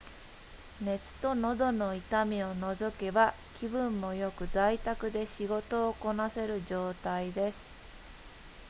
熱と喉の痛みを除けば気分も良く在宅で仕事をこなせる状態です